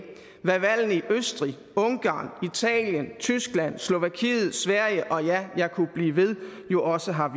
hvad valgene i østrig ungarn italien tyskland slovakiet sverige ja jeg kunne blive ved jo også har